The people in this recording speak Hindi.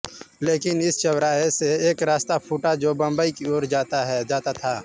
लेकिन इस चौराहे से एक रास्ता फूटा जो बंबई की ओर जाता था